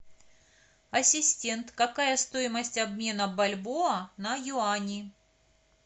ассистент какая стоимость обмена бальбоа на юани